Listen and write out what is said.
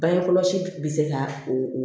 Bange kɔlɔsi bɛ se ka o